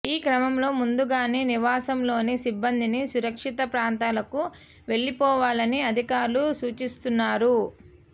ఈ క్రమంలో ముందుగానే నివాసంలోని సిబ్బందిని సురక్షిత ప్రాంతాలకు వెళ్లిపోవవాలని అధికారులు సూచిస్తున్నారు